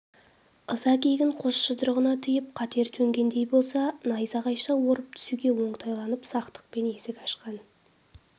ыза-кегін қос жұдырығына түйіп қатер төнгендей болса найзағайша орып түсуге оңтайланып сақтықпен есік ашқан